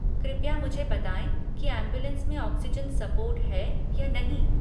कृपया मुझे बताएँ कि ऐम्बुलेन्स में ऑक्सीजन सपोर्ट है या नहीं।